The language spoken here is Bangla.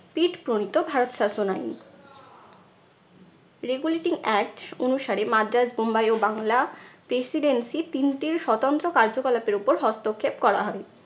পিট প্রণিত ভারত শাসন আইন। regulating act অনুসারে মাদ্রাজ বোম্বাই ও বাংলা presidency তিনটি স্বতন্ত্র কার্যকলাপের ওপর হস্তক্ষেপ করা হয়।